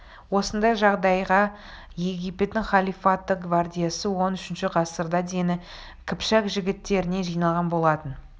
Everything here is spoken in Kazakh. осындай жағдайда египеттің халифаттық гвардиясы он үшінші ғасырда дені қыпшақ жігіттерінен жиналған болатын